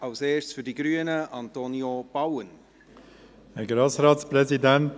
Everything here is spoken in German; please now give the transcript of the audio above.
Zuerst Antonio Bauen für die Grünen.